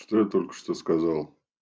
что я только что сказал